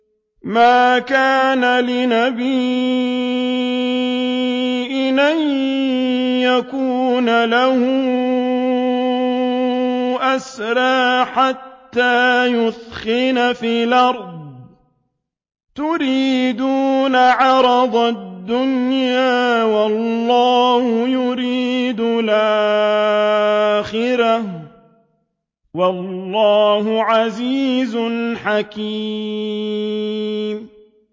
مَا كَانَ لِنَبِيٍّ أَن يَكُونَ لَهُ أَسْرَىٰ حَتَّىٰ يُثْخِنَ فِي الْأَرْضِ ۚ تُرِيدُونَ عَرَضَ الدُّنْيَا وَاللَّهُ يُرِيدُ الْآخِرَةَ ۗ وَاللَّهُ عَزِيزٌ حَكِيمٌ